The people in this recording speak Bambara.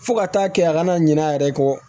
Fo ka taa kɛ a kana ɲina a yɛrɛ kɔ